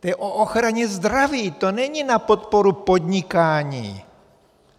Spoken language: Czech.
To je o ochraně zdraví, to není na podporu podnikání.